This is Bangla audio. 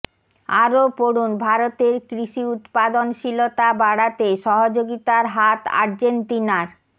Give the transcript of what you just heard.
আরও পড়ুন ভারতের কৃষি উৎপাদনশীলতা বাড়াতে সহযোগিতার হাত আর্জেন্তিনার